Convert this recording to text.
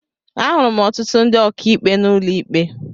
Ahụrụ m ọtụtụ ndị ọkàikpe n'ụlọ ikpe.